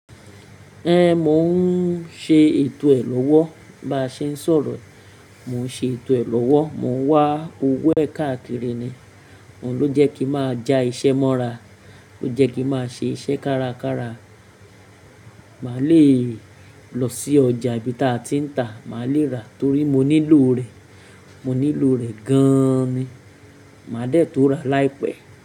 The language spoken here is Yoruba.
Ẹn, mò ń ṣe ètò ẹ lọ́wọ́. Bí a ń ṣe sọ̀rọ̀ yìí mo ń ṣe ètò rẹ̀ lọ́wọ́. Mò ń wá owó ẹ̀ kaà kíri ni. Òun ló jẹ́ kí n máa ja iṣẹ́ mọ́ra, ló jẹ́ kí n máa ṣe iṣẹ́ kárakára. Máa lè lọ sí ọjà ibi tí a ti ń tà, màá lè rà torí mo nílò rẹ̀, mo nílò rẹ̀ gan ni. Mà dẹ̀ tó ràá láì pẹ́.